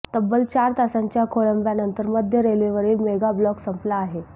तब्बल चार तासांच्या खोळंब्यानंतर मध्य रेल्वेवरील मेगाब्लॉक संपला आहे